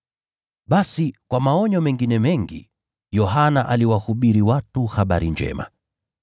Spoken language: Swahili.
Basi, kwa maonyo mengine mengi Yohana aliwasihi na kuwahubiria watu Habari Njema.